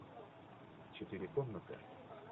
четыре комнаты